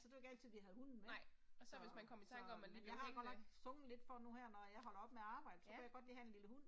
Så det var ikke altid vi havde hunden med så så. Jeg har godt nok fumlet lidt for nu her når jeg holder op med at arbejde så kunne jeg godt lige have en lille hund